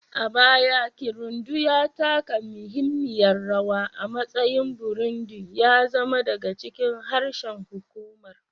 A baya, Kirundi ya taka muhimmiyar rawa a matsayin Burundi, ya zama daga cikin harshen hukumar'